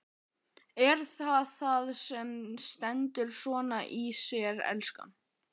Er það það sem stendur svona í þér, elskan?